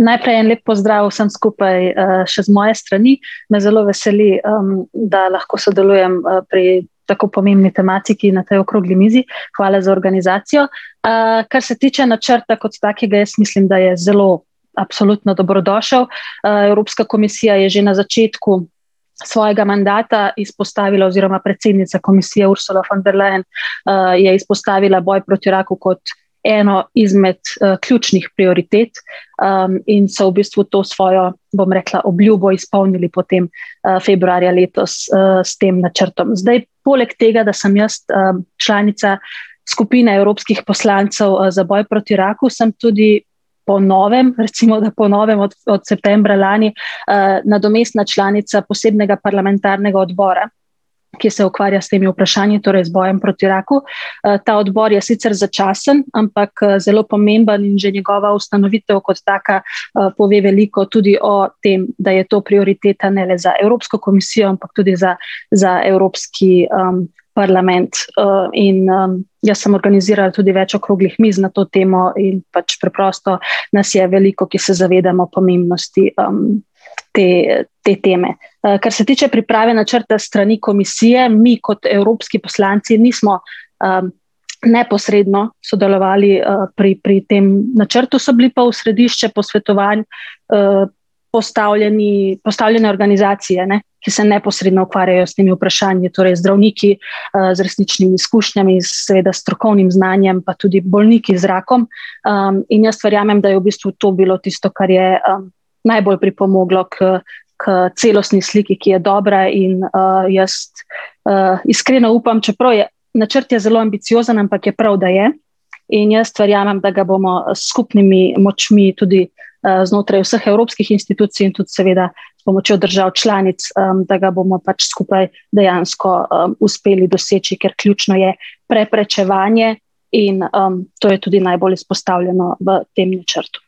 najprej en lep pozdrav vsem skupaj, še z moje strani, me zelo veseli, da lahko sodelujem, pri tako pomembni tematiki, na tej okrogli mizi. Hvala za organizacijo. kar se tiče načrta kot takega, jaz mislim, da je zelo absolutno dobrodošel, Evropska komisija je že na začetku svojega mandata izpostavila oziroma predsednica komisije, Ursula von der Leyen, je izpostavila boj proti raku kot eno izmed, ključnih prioritet. in so v bistvu to svojo, bom rekla, obljubo izpolnili potem, februarja letos, s tem načrtom. Zdaj poleg tega, da sem jaz, članica skupine evropskih poslancev, za boj proti raku, sem tudi po novem, recimo da po novem od, od septembra lani, nadomestna članica posebnega parlamentarnega odbora, ki se ukvarja s temi vprašanji, torej z bojem proti raku. ta odbor je sicer začasen, ampak, zelo pomemben, že njegova ustanovitev kot taka, pove veliko, tudi o tem, da je to prioriteta ne le za Evropsko komisijo, ampak tudi za, za Evropski, parlament. in, jaz sem organizirala tudi več okroglih miz na to temo in pač preprosto nas je veliko, ki se zavedamo pomembnosti, te, te teme. kar se tiče priprave načrta s strani Komisije, mi kot evropski poslanci nismo, neposredno sodelovali, pri, pri tem načrtu, so bili pa v središče posvetovanj, postavljeni, postavljene organizacije, ne, ki se neposredno ukvarjajo s temi vprašanji, torej zdravniki, z resničnimi izkušnjami, seveda s strokovnim znanjem, pa tudi bolniki z rakom, in jaz verjamem, da je v bistvu to bilo tisto, kar je, najbolj pripomoglo k, k celostni sliki, ki je dobra in, jaz, iskreno upam, čeprav je ... Načrt je zelo ambiciozen, ampak je prav, da je, in jaz verjamem, da ga bomo s skupnimi močmi tudi, znotraj vseh evropskih institucij in tudi seveda območja držav članic, da ga bomo pač skupaj dejansko, uspeli doseči, ker ključno je preprečevanje in, to je tudi najbolj izpostavljeno v tem načrtu.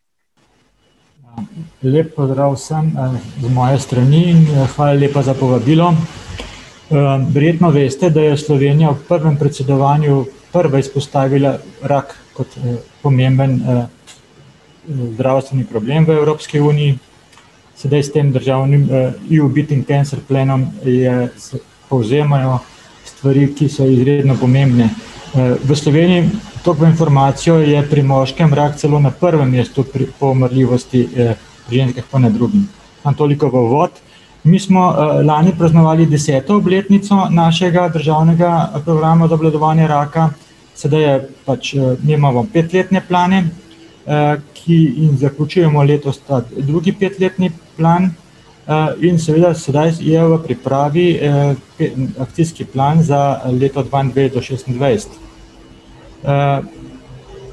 Lep pozdrav vsem, z moje strani in hvala lepa za povabilo. verjetno veste, da je Slovenija v prvem predsedovanju prva izpostavila rak kot, pomemben, zdravstveni problem v Evropski uniji. Sedaj s tem državnim, EU Beating Cancer Planom je, se povzemajo stvari, ki so izredno pomembne. v Sloveniji, toliko v informacijo, je pri moškem rak celo na prvem mestu pri, po umrljivosti, pri ženskah pa na drugem. Samo toliko v uvod. Mi smo, lani praznovali deseto obletnico našega državnega programa za obvladovanje raka, sedaj je pač, mi imamo petletne plane, ki, in zaključujemo letos, drugi petletni plan. in seveda sedaj je v pripravi, petletni akcijski plan za leto do šestindvajset.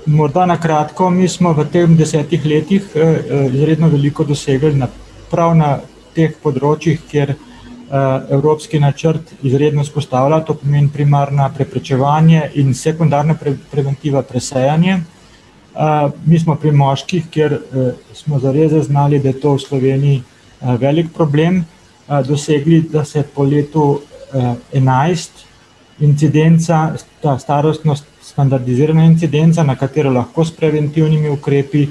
morda na kratko, mi smo v tem desetih letih, izredno veliko dosegli na, prav na teh področjih, kjer, evropski načrt izredno vzpostavlja, to pomeni, primarna, preprečevanje, in sekundarna, preventiva, presejanje. mi smo pri moških, kjer, smo zares zaznali, da je to v Sloveniji, velik problem, dosegli, da se po letu, enajst incidenca, ta starostnost, standardizirana incidenca, na katero lahko s preventivnimi ukrepi,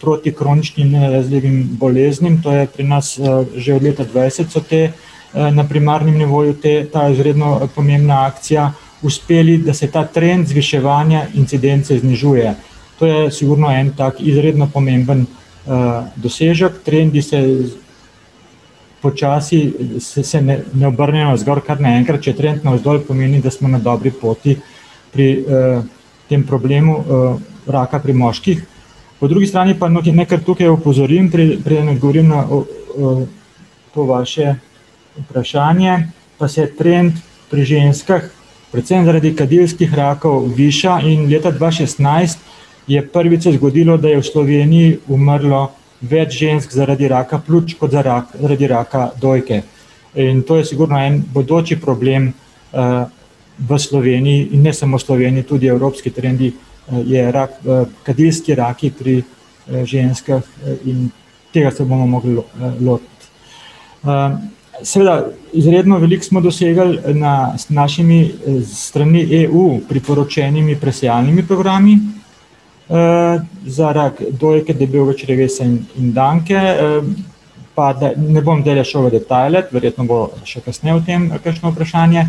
proti kroničnim nenalezljivim boleznim, to je pri nas, že od leta dvajset so te, na primarnem nivoju te, ta izredno, pomembna akcija, uspeli, da se ta trend zviševanja incidence znižuje. To je sigurno en tak izredno pomemben, dosežek, trendi se počasi se, se ne obrnejo navzgor naenkrat, če je trend navzdol, pomeni, da smo na dobri poti pri, tem problemu, raka pri moških. Po drugi strani pa naj kar tukaj opozorim, preden odgovorim na to vaše vprašanje, pa se trend pri ženskah predvsem zaradi kadilskih rakov viša in leta dva šestnajst je prvič se zgodilo, da je v Sloveniji umrlo več žensk zaradi raka pljuč kot za zaradi raka dojke. In to je sigurno en bodoči problem, v Sloveniji in ne samo v Sloveniji, tudi evropski trendi, je rak, kadilski raki pri, ženskah, in ... Tega se bomo mogli lotiti. seveda, izredno veliko smo dosegli na, z našimi stranmi EU, priporočenimi presejalnimi programi, za rak dojke, debelega črevesa in danke, Pa da ne bom zdajle šel v detajle, verjetno bo še kasneje o tem kakšno vprašanje,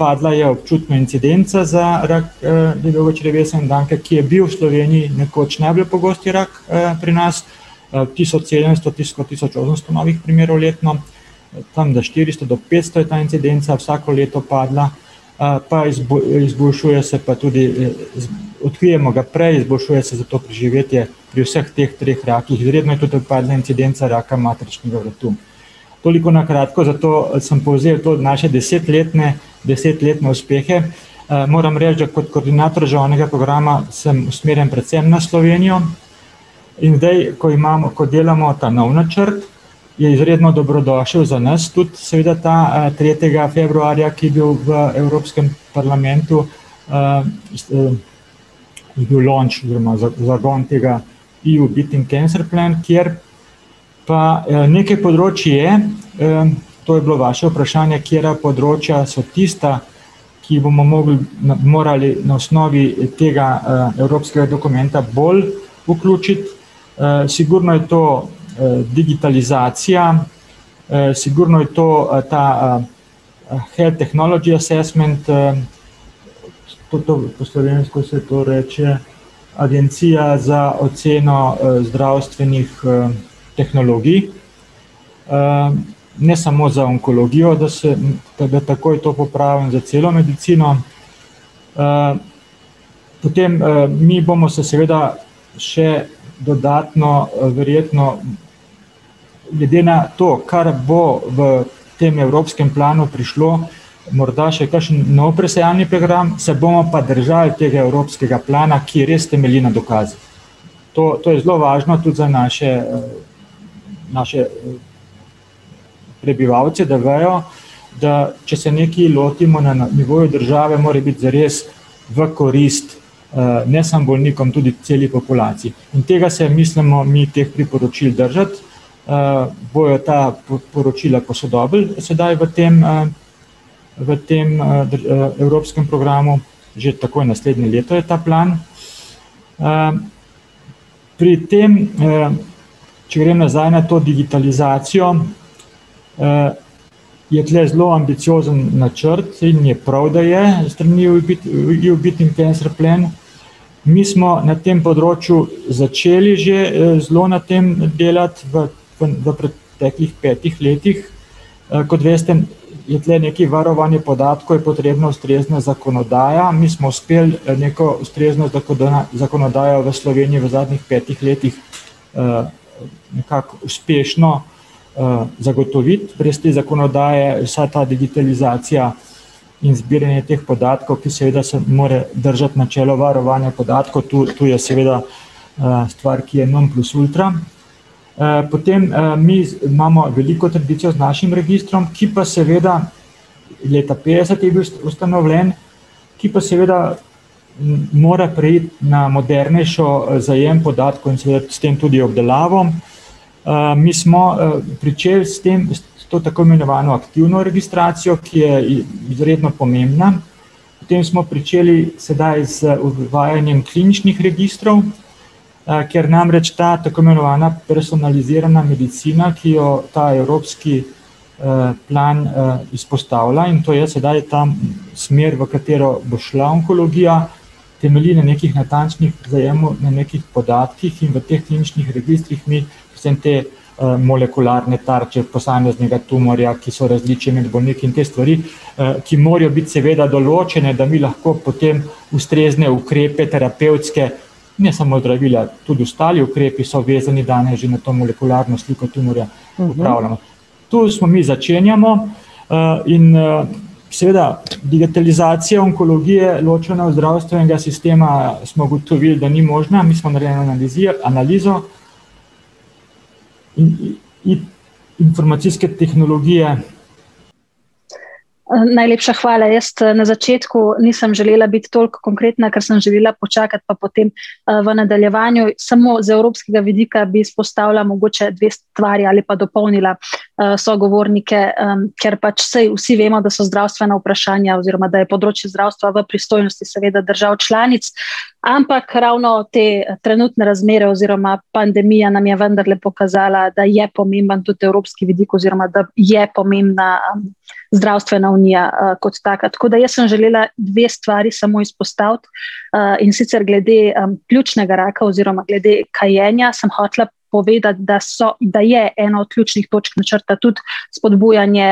padla je občutna incidenca za rak, debelega črevesa in danke, ki je bil v Sloveniji nekoč najbolj pogost rak, pri nas, tisoč sedemsto tisoč osemsto novih primerov letno, tam do štiristo do petsto je ta incidenca vsako leto padla, pa izboljšuje se pa tudi, odkrijemo ga prej, izboljšuje se zato preživetje pri vseh teh treh rakih, izredna je tudi, ta neincidenca raka materničnega vratu. Toliko na kratko, za to, sem povzel to naše desetletne, desetletne uspehe, moram reči, da kot koordinator žavnega programa sem usmerjen predvsem na Slovenijo, in zdaj, ko imam, ko delamo ta novi načrt, je izredno dobrodošel za nas tudi, seveda ta, tretjega februarja, ki je bil v Evropskem parlamentu, je bil launch oziroma zagon tega EU Beating Cancer Plan, kjer pa, nekaj področij je, to je bilo vaše vprašanje, katera področja so tista, ki bomo mogli, morali na osnovi tega, evropskega dokumenta bolj vključiti. sigurno je to, digitalizacija, sigurno je to, ta, Health Technology Assessment, po to, po slovensko se to reče Agencija za oceno, zdravstvenih, tehnologij, ne samo za onkologijo, da se, da ga takoj to popravim, za celo medicino. potem, mi bomo se seveda še dodatno, verjetno, glede na to, kar bo v tem evropskem planu prišlo, morda še kakšen nov presejalni program, se bomo pa držali tega evropskega plana, ki je, res temelji na dokazih. To, to je zelo važno tudi za naše, naše, prebivalce, da vejo, da če se nekaj lotimo na nivoju države, more biti zares v korist, ne samo bolnikom, tudi celi populaciji. In tega se mislimo mi, teh priporočil držati, bojo ta poročila posodobili, sedaj v tem, v tem, evropskem programu, že takoj naslednje leto je ta plan. pri tem, če grem nazaj na to digitalizacijo, je tule zelo ambiciozen načrt in je prav, da je, s strani EU Beating Cancer Plan, mi smo na tem področju začeli že, zelo na tem delati, da v, v preteklih petih letih, kot veste, je tule nekaj varovanje podatkov, je potrebna ustrezna zakonodaja, mi smo uspeli, neko ustrezno zakonodajo za Slovenijo v zadnjih petih letih, nekako uspešno, zagotoviti, brez te zakonodaje vsa ta digitalizacija in zbiranje teh podatkov, ki seveda se mora držati načela varovanja podatkov, to je seveda, stvar, ki je non plus ultra, potem, mi imamo veliko tradicijo z našim registrom, ki pa seveda, leta petdeset je bil ustanovljen, ki pa seveda mora preiti na modernejši, zajem podatkov in seveda s tem tudi obdelavo. mi smo, pričeli s tem s to tako imenovano aktivno registracijo, ki je izredno pomembna, potem smo pričeli sedaj z uvajanjem kliničnih registrov, ker namreč ta tako imenovana personalizirana medicina, ki jo ta evropski, plan, izpostavlja, in to je sedaj ta, smer, v katero bo šla onkologija, temelji na nekih natančnih, zajemu, na nekih podatkih, in v teh kliničnih registrih mi predvsem te, molekularne tarče posameznega tumorja, ki so različni med bolniki, in te stvari, ki morajo biti seveda določene, da mi lahko potem ustrezne ukrepe terapevtske, ne samo zdravila, tudi ostali ukrepi so vezani danes že na to molekularno sliko tumorja, v glavnem, to, smo mi začenjamo, in, seveda, digitalizacija onkologije, ločena od zdravstvenega sistema, smo ugotovili, da ni možna, mi smo narejeno analizijo, analizo, informacijske tehnologije ... najlepša hvala, jaz, na začetku nisem želela biti toliko konkretna, ker sem želela počakati pa potem, v nadaljevanju. Samo z evropskega vidika bi izpostavila mogoče dve stvari ali pa dopolnila, sogovornike, ker pač saj vsi vemo, da so zdravstvena vprašanja oziroma da je področje zdravstva v pristojnosti seveda držav članic, ampak ravno te trenutne razmere oziroma pandemija nam je vendarle pokazala, da je pomemben tudi evropski vidik oziroma da je pomembna zdravstvena unija, kot taka. Tako da jaz sem želela dve stvari samo izpostaviti, in sicer glede, pljučnega raka oziroma glede kajenja sem hotela povedati, da so, da je eno od ključnih točk načrta tudi spodbujanje,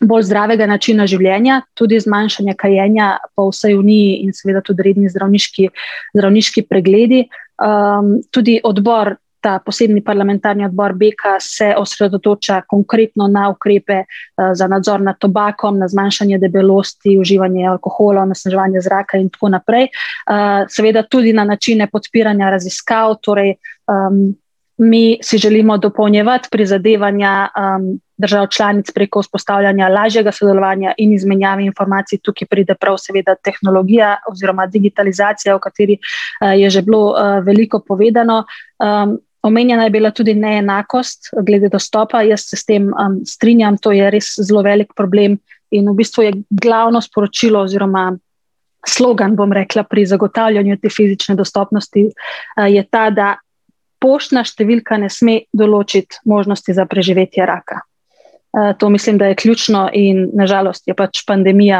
bolj zdravega načina življenja, tudi zmanjšanje kajenja po vsej uniji in seveda tudi redni zdravniški, zdravniški pregledi. tudi odbor, ta posebni parlamentarni odbor Beka, se osredotoča konkretno na ukrepe, za nadzor nad tobakom, na zmanjšanje debelosti, uživanje alkohola, onesnaževanje zraka in tako naprej. seveda tudi na načine podpiranja raziskav, torej, mi si želimo dopolnjevati prizadevanja, držav članic preko vzpostavljanja lažjega sodelovanja in izmenjave informacij, tukaj pride prav seveda tehnologija oziroma digitalizacija, o kateri, je že bilo, veliko povedano. omenjena je bila tudi neenakost, glede dostopa, jaz se s tem, strinjam, to je res zelo velik problem, in v bistvu je glavno sporočilo oziroma slogan, bom rekla, pri zagotavljanju te fizične dostopnosti, je ta, da poštna številka ne sme določiti možnosti za preživetje raka. to mislim, da je ključno in na žalost je pač pandemija,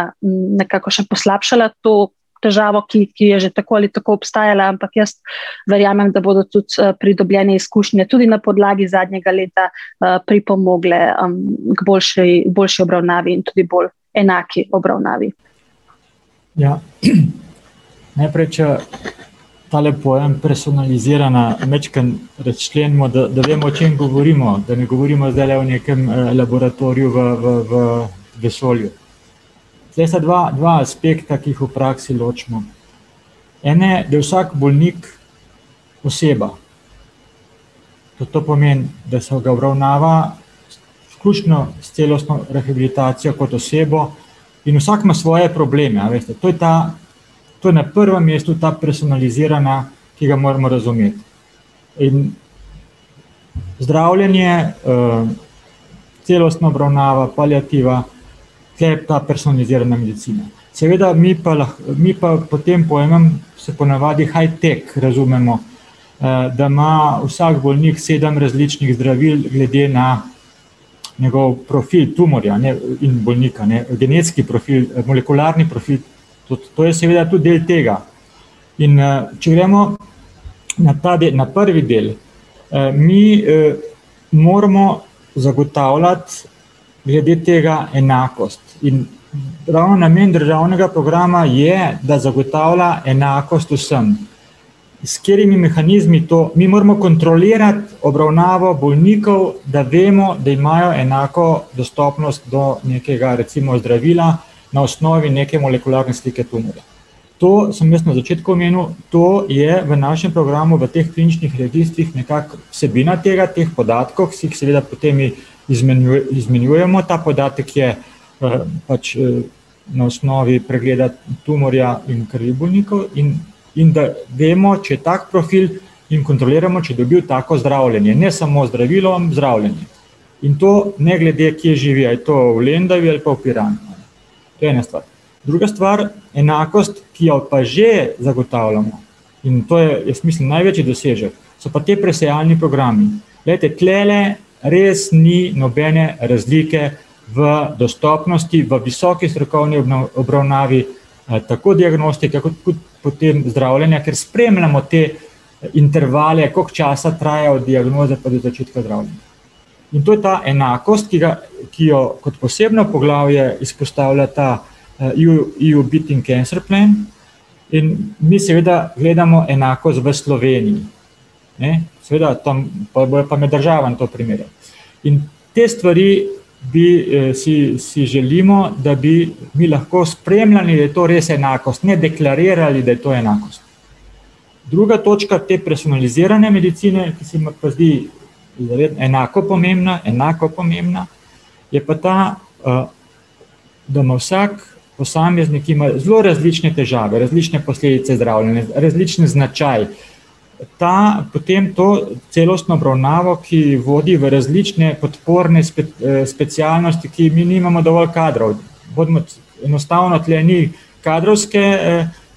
nekako še poslabšala to težavo, ki, ki je že tako ali tako obstajala, ampak jaz verjamem, da bodo tudi, pridobljene izkušnje, tudi na podlagi zadnjega leta, pripomogle, k boljši, boljši obravnavi in tudi bolj enaki obravnavi. Ja, . Najprej, če tale pojem personalizirana majčkeno razčlenimo, da, da vemo, o čem govorimo, da ne govorimo zdajle o nekem, laboratoriju v, v, v vesolju. Zdaj sta dva, dva aspekta, ki jih v praksi ločimo. En je, da je vsak bolnik oseba. Da to pomeni, da se ga obravnava izključno s celostno rehabilitacijo kot osebo, in vsak ima svoje probleme, a veste, to je ta, to je na prvem mestu ta personalizirana, ki ga moramo razumeti. In zdravljenje, celostna obravnava, paliativa ter ta personalizirana medicina. Seveda mi pa mi pa potem po enem se ponavadi high-tech razumemo. da ima vsak bolnik sedem različnih zdravil glede na njegov profil tumorja, a ne, in bolnika, a ne, genetski profil, molekularni profil. Tudi to je seveda tudi del tega. In, če gremo na ta na prvi del, mi, moramo zagotavljati glede tega enakost. In prav namen državnega programa je, da zagotavlja enakost vsem. S katerimi mehanizmi to, mi moramo kontrolirati obravnavo bolnikov, da vemo, da imajo enako dostopnost do nekega recimo zdravila na osnovi neke molekularne slike tumorja. To sem jaz na začetku omenil, to je v našem programu, v teh kliničnih registrih nekako vsebina tega, teh podatkov, ki seveda potem izmenjujemo ta podatek, ki je, pač, na osnovi pregleda tumorja in krvnih bolnikov in, in da vemo, če je tak profil, in kontroliramo, če je dobil tako zdravljenje, ne samo zdravilo, zdravljenje. In to ne glede, kje živi, a je to v Lendavi ali je to v Piranu. To je ena stvar. Druga stvar: enakost, ki jo pa že zagotavljamo. In to je, jaz mislim, največji dosežek so pa ti presejalni programi. Glejte, tulele res ni nobene razlike v dostopnosti, v visoki strokovni obravnavi, tako diagnostike kot tudi potem zdravljenja, ker spremljamo te, intervale, koliko časa traja od diagnoze pa do začetka zdravljenja. In to je ta enakost, ki ga, ki jo kot posebno poglavje izpostavila ta, EU Beating Cancer Plan, in mi seveda gledamo enakost v Sloveniji, ne. Seveda pol bojo pa med državami to primerjali. In te stvari bi, si, si želimo, da bi, bi lahko spremljali, da je to res enakost, ne deklarirali, da je to enakost. Druga točka te personalizirane medicine, ki se mi pa zdi enako pomembna, enako pomembna, je pa ta, da ima vsak posameznik, ki ima zelo različne težave, različne posledice zdravljenja, različen značaj, ta potem to celostno obravnavo, ki vodi v različne podporne specialnosti, ki, mi nimamo dovolj kadrov. Hodimo enostavno tule ni kadrovske, ...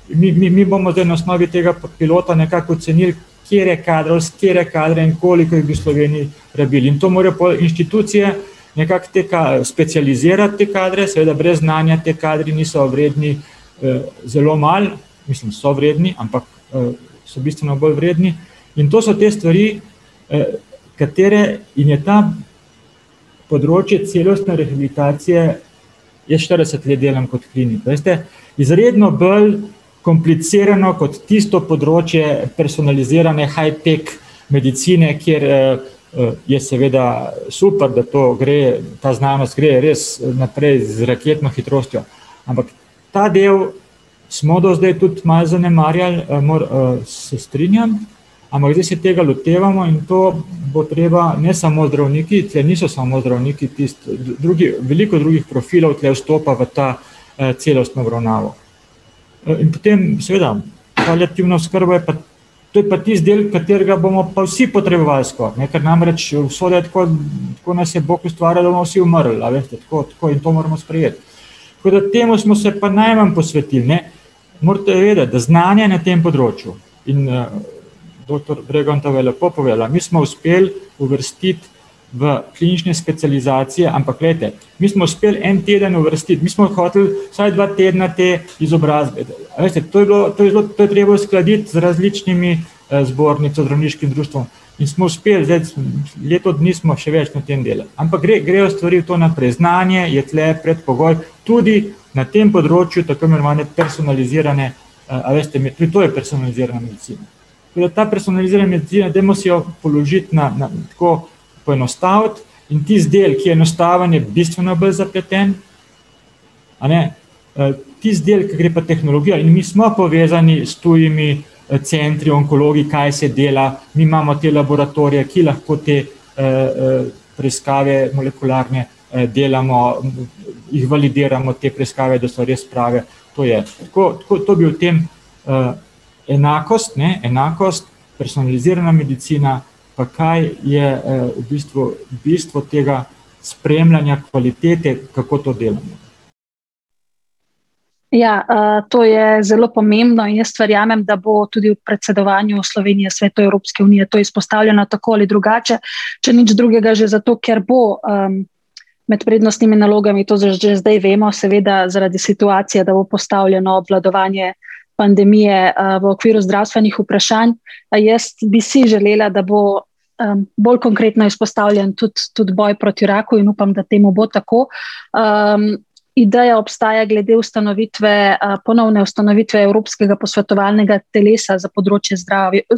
Mi, mi, mi bomo zdaj na osnovi tega pilota nekako ocenili, katere katere kadre in koliko jih bi v Sloveniji rabili. In to morajo pol inštitucije nekako te specializirati te kadre, seveda brez znanja ti kadri niso vredni, zelo malo, mislim, so vredni, ampak, so bistveno bolj vredni, in to so te stvari, katere je ta področje celostne rehabilitacije ... Jaz štirideset let delam kot klinik, veste, izredno bolj komplicirano kot tisto področje personalizirane high-tech medicine, kjer, je seveda super, da to gre, ta znanost gre res naprej z raketno hitrostjo. Ampak ta del smo do zdaj tudi malo zanemarjali, se strinjam, ampak zdaj se tega lotevamo in to bo treba, ne samo zdravniki, saj niso samo zdravniki tisti, drugi, veliko drugih profilov tule stopa v ta, celostno obravnavo. in potem, seveda, paliativna oskrba pa, to je pa tisti del, katerega bomo pa vsi potrebovali skoraj, ne, ker namreč vso , tako nas je Bog ustvaril, da bomo vsi umrli, a veste, tako, tako, in to moramo sprejeti. Tako da temu smo se pa najmanj posvetili, ne. Morate vedeti, da znanje na tem področju in, ... Doktor Bregantova je lepo povedala, mi smo uspeli uvrstiti v klinične specializacije, ampak glejte, mi smo uspeli en teden uvrstiti, mi smo hoteli vsaj dva tedna te izobrazbe A veste, to je bilo, to je bilo, to je treba uskladiti z različnimi, zbornico, zdravniškim društvom, in smo uspeli leto dni smo, še več, na tem delali. Ampak gre, grejo stvari v to naprej. Znanje je tule predpogoj, tudi na tem področju, tako imenovane personalizirane, a veste, to je personalizirana medicina. Tako da ta personalizirana medicina, dajmo si jo položiti na, na, tako poenostaviti, in tisti del, ki je enostaven, je bistveno bolj zapleten, a ne, tisti del, ke gre pa tehnologija, in mi smo povezani s tujimi, centri, onkologi, kaj se dela, mi imamo te laboratorije, ki lahko te, preiskave molekularne, delamo, jih validiramo te preiskave, da so res prave. To je tako, tako, to bi o tem, ... Enakost, ne, enakost, personalizirana medicina, pa kaj je, v bistvu bistvo tega spremljanja kvalitete, kako to delamo. Ja, to je zelo pomembno in jaz verjamem, da bo tudi v predsedovanju Slovenija v Svetu Evropske unije to izpostavljena, tako ali drugače, če nič drugega, že zato, ker bo, med prednostnimi nalogami, to že zdaj vemo, seveda, zaradi situacije, da bo postavljeno obvladovanje pandemije, v okviru zdravstvenih vprašanj. jaz bi si želela, da bo, bolj konkretno izpostavljen tudi, tudi boj proti raku, in upam, da temu bo tako, ideja obstaja glede ustanovitve, ponovne ustanovitve evropskega posvetovalnega telesa za področje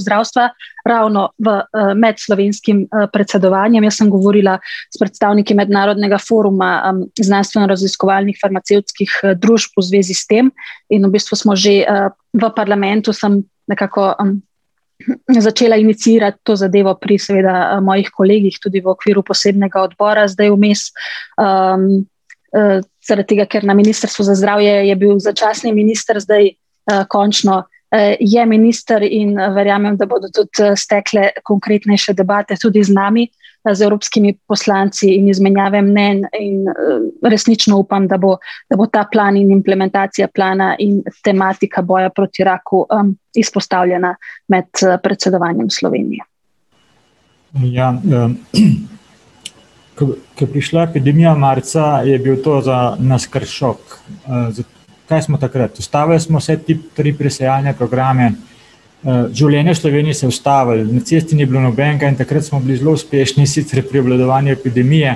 zdravstva, ravno v, med slovenskim, predsedovanjem, jaz sem govorila s predstavniki mednarodnega foruma, znanstveno-raziskovalnih farmacevtskih, družb v zvezi s tem, in v bistvu smo že, ... V parlamentu sem nekako, začela iniciirati to zadevo pri seveda, mojih kolegih, tudi v okviru posebnega odmora zdaj vmes, zaradi tega, ker na Ministrstvu za zdravje je bil začasni minister zdaj, končno, je minister in verjamem, da bodo tudi stekle konkretnejše debate tudi z nami, z evropskimi poslanci, in izmenjave mnenj in, resnično upam, da bo, da bo ta plan in implementacija plana in tematika boja proti raku, izpostavljena med, predsedovanjem Slovenije. Ja, . Ke, ke je prišla epidemija marca, je bil to za nas kar šok. ... Kaj smo takrat? Ustavili smo se tri presajalne programe, življenje v Sloveniji se je ustavilo, na cesti ni bilo nobenega in takrat smo bili zelo uspešni sicer pri obvladovanju epidemije,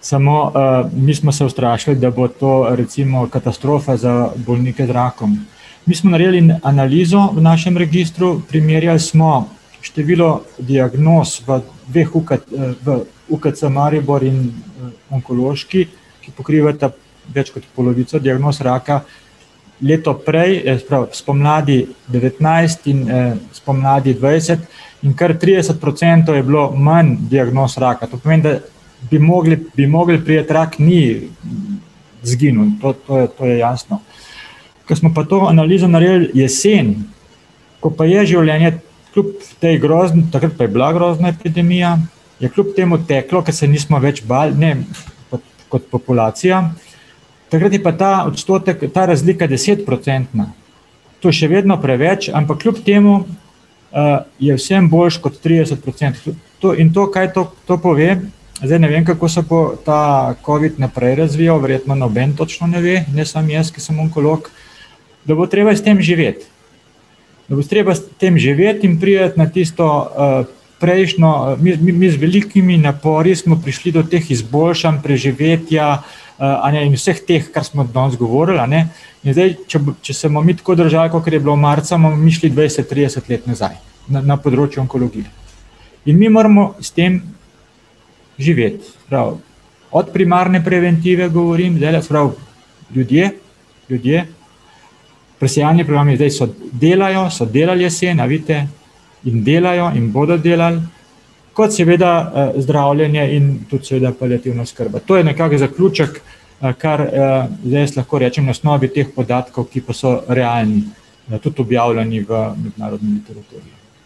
samo, mi smo se ustrašili, da bo to recimo katastrofa za bolnike z rakom. Mi smo naredili in analizo v našem registru, primerjali smo število diagnoz v dveh v UKC Maribor in, onkološki, ki pokrivata več kot polovico diagnoz raka. Leto prej, se pravi spomladi devetnajst in, spomladi dvajset, in kar trideset procentov je bilo manj diagnoz raka, to pomeni, da bi mogli, bi mogli priti, rak ni izginil. To, to je jasno. Ker smo pa to analizo naredili jeseni, ko pa je življenje kljub potem takrat pa je bila grozna epidemija, je kljub temu teklo, ke se nismo več bali, ne, kot, kot populacija, takrat je pa ta odstotek, ta razlika desetprocentna. To je še vedno preveč, ampak kljub temu, je vseeno boljše kot trideset procentov. To, in to, kaj to, to pove, zdaj ne vem, kako se bo ta covid naprej razvijal, verjetno noben točno ne ve, ne samo jaz, ki sem onkolog, da bo treba s tem živeti. Da bo treba s tem živeti in priti na tisto, prejšnjo, mi, mi z velikimi napori smo prišli do teh izboljšanj preživetja, a ne, in vseh teh, kar smo danes govorili, a ne, in zdaj, če če se bomo mi tako držali, kakor je bilo marca, bomo mi šli dvajset, trideset let nazaj na, na področju onkologije. In mi moramo s tem živeti. Se pravi, od primarne preventive govorim, zdajle, se pravi, ljudje, ljudje, presejalni plani, zdaj so, delajo, so delali jesen, a vidite, in delajo in bodo delali, kot seveda, zdravljenje in tudi seveda paliativna oskrba. To je nekako zaključek, kar, zdaj jaz lahko rečem, na osnovi teh podatkov, ki pa so realni, tudi objavljeni v mednarodni literaturi.